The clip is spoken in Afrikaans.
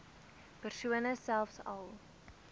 persone selfs al